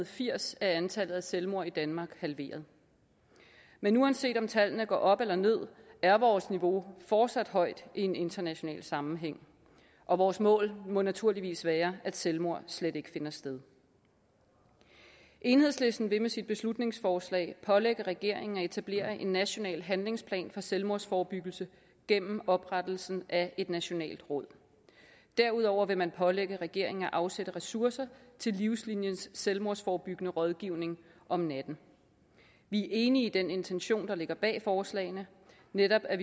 firs er antallet af selvmord i danmark halveret men uanset om tallene går op eller ned er vores niveau fortsat højt i en international sammenhæng og vores mål må naturligvis være at selvmord slet ikke finder sted enhedslisten vil med sit beslutningsforslag pålægge regeringen at etablere en national handlingsplan for selvmordsforebyggelse gennem oprettelsen af et nationalt råd derudover vil man pålægge regeringen at afsætte ressourcer til livsliniens selvmordsforebyggende rådgivning om natten vi er enige i den intention der ligger bag forslagene netop at